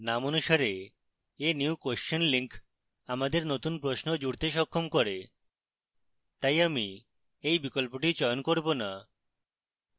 name অনুসারে a new question link আমাদের নতুন প্রশ্ন জুড়তে সক্ষম করে তাই আমি এই বিকল্পটি চয়ন করব না